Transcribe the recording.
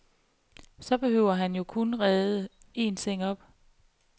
Så behøver han jo kun at rede en seng op.